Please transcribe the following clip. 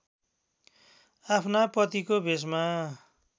आफ्ना पतिको भेषमा